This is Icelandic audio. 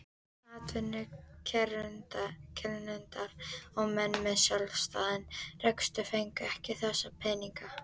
Atvinnurekendur og menn með sjálfstæðan rekstur fengu ekki þessa peninga.